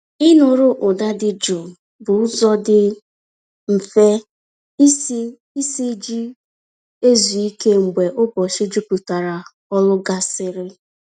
Ịnụrụ ụda dị jụụ bụ ụzọ dị mfe isi isi ji ezu ike mgbe ụbọchị juputara ọrụ gasịrị.